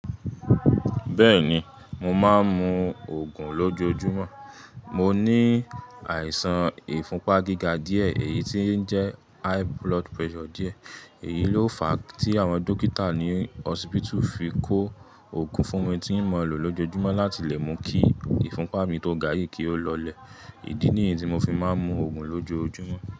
Bẹ́ẹ̀ni, mo máa ń mu Ògùn lójoojúmọ́. Mo ní àìsàn ìfúnpá gíga díẹ̀, èyí tí ń jẹ́ high blood pressure díẹ̀. Èyí ló fa tí àwọn dókítà ní hospital fi kó Ògùn fún mi tí mo ń lò lójoojúmọ́ láti lè mú kí ìfúnpá mi tó ga yìí kí ó lọlẹ̀. Ídí nìyí tí mo fi máa ń mu Ògùn lójoojúmọ́.